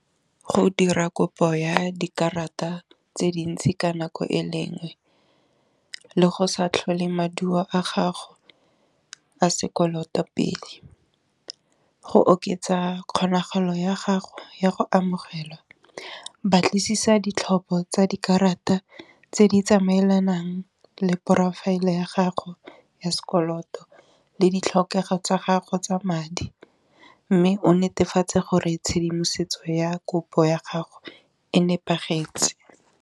Ho dira kopo ya dikarata tse dintsi ka nako e lengwe le go sa tlholeng maduo a gago a sekoloto pele, go oketsa kgonagalo ya gago ya go amogelwa batlisisa ditlhopho tsa dikarata tse di tsamaelanang le porofaele ya gago ya sekoloto le ditlhokego tsa gago tsa madi, mme o netefatse gore tshedimosetso ya kopo ya gago e nepagetse.